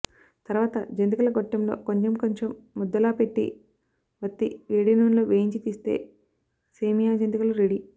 తరవాత జంతికల గొట్టంలో కొంచెంకొంచెం ముద్దలా పెట్టి వత్తి వేడినూనెలో వేయించి తీస్తే సేమ్యా జంతికలు రెడీ